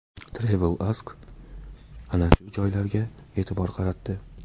TravelAsk ana shu joylarga e’tibor qaratdi .